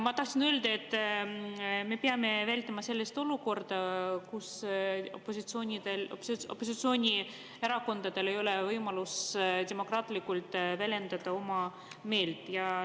Ma tahtsin öelda, et me peame vältima sellist olukorda, kus opositsioonierakondadel ei ole võimalust demokraatlikult oma meelt väljendada.